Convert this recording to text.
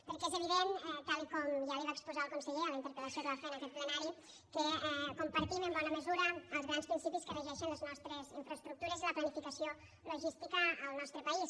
perquè és evident tal com ja li va exposar el conseller en la interpel·lació que va fer en aquest plenari que compartim en bona mesura els grans principis que regeixen les nostres infraestructures i la planificació logística en el nostre país